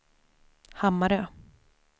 Hammarö